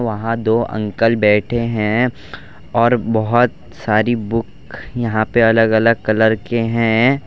वहां दो अंकल बैठे हैं और बहुत सारी बुक यहां पर अलग अलग कलर के हैं।